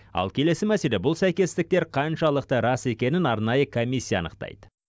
ал келесі мәселе бұл сәйкестіктер қаншалықты рас екенін арнайы комиссия анықтайды